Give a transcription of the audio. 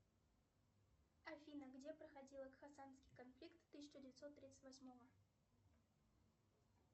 в каком штате находится статуя свободы